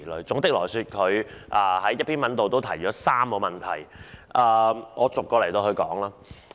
總體而言，他在一篇文章中提到3個問題，讓我逐一討論。